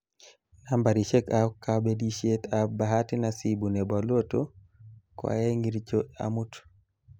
Nambarishekab kabilishet ab Bahati nasibu nebo Lotto koaengircho amut